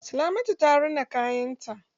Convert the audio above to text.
Salamatu ta rina kayan ta.